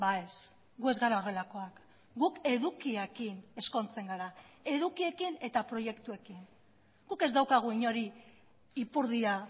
ez gu ez gara horrelakoak guk edukiekin ezkontzen gara edukiekin eta proiektuekin guk ez daukagu inori ipurdia